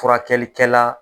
Furakɛlikɛla